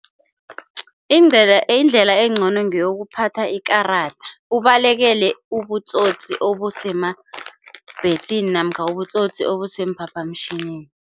Indlela indlela engcono ngeyokuphatha ikarada ubalekele ubutsotsi obusemabhesi namkha ubutsotsi obusemphaphamtjhinini.